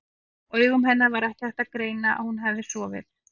Á augum hennar var ekki hægt að greina að hún hefði sofið.